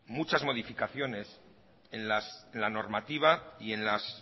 muchas modificaciones en la normativa y en los